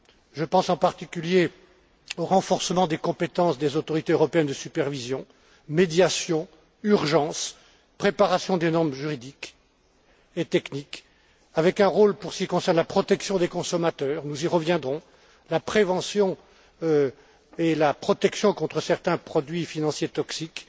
Je pense en particulier au renforcement des compétences des autorités européennes de supervision médiation, urgence, préparation des normes juridiques et techniques, avec un rôle pour ce qui concerne la protection des consommateurs nous y reviendrons la prévention et la protection contre certains produits financiers toxiques,